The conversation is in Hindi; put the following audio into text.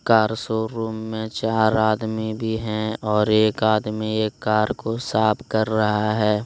कार शोरूम में चार आदमी भी हैं और एक आदमी एक कार को साफ कर रहा है।